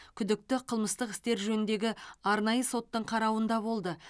күдікті қылмыстық істер жөніндегі арнайы соттың қарауында болды